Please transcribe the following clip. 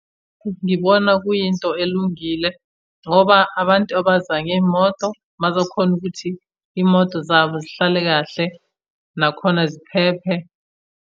Ngibona kuyinto elungile, ngoba abantu abaza ngey'moto bazokhona ukuthi iy'moto zabo zihlale kahle nakhona ziphephe.